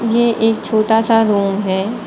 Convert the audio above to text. ये एक छोटा सा रूम है।